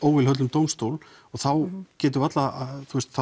dómstól og þá getur varla